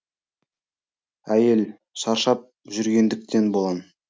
ә й е л шаршап жүргендіктен болар